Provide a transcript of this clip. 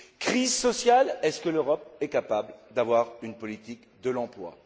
Crise sociale est ce que l'Europe est capable d'avoir une politique de l'emploi?